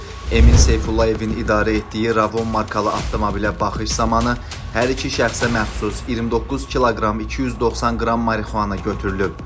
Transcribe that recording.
Emin Seyfullayevin idarə etdiyi Ravon markalı avtomobilə baxış zamanı hər iki şəxsə məxsus 29 kq 290 qram marixuana götürülüb.